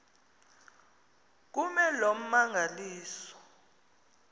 kume loo mmangaliso